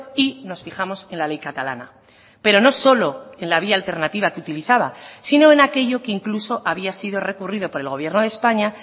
y nos fijamos en la ley catalana pero no solo en la vía alternativa que utilizaba sino en aquello que incluso había sido recurrido por el gobierno de españa